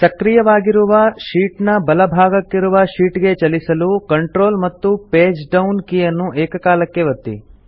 ಸಕ್ರಿಯವಾಗಿರುವ sheet ನ ಬಲ ಭಾಗಕ್ಕಿರುವ ಶೀಟ್ ಗೆ ಚಲಿಸಲು ಕಂಟ್ರೋಲ್ ಮತ್ತು ಪೇಜ್ ಡೌನ್ ಕೀ ಅನ್ನು ಏಕಕಾಲಕ್ಕೆ ಒತ್ತಿ